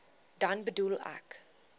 dan bedoel ek